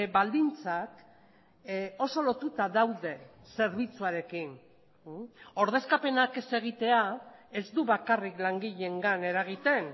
baldintzak oso lotuta daude zerbitzuarekin ordezkapenak ez egitea ez du bakarrik langileengan eragiten